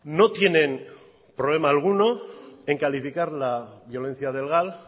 no tienen problema alguno en calificar la violencia del gal